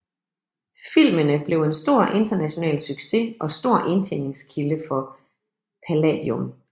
Filmene blev en stor international succes og stor indtjeningskilde for Palladium